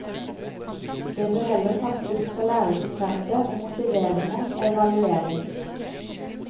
Det bør heller satses på læringsfremmende og motiverende evaluering.